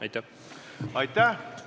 Aitäh!